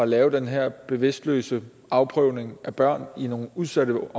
lave den her bevidstløse afprøvning af børn i nogle udsatte